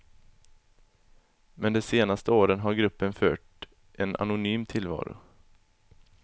Men det senaste åren har gruppen fört en anonym tillvaro.